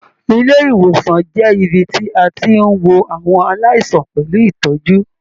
Ilé-ìwòsàn jẹ́ ibí tí a tí n wò àwọn aláìsàn pẹlú ìtọ́jú.